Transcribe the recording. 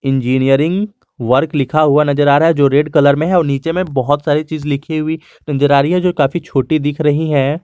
Engineering work लिखा हुआ नजर आ रहा है जो रेड कलर में है और नीचे में बहोत सारी चीज़ लिखी हुई नजर आ रही है जो काफी छोटी दिख रही है।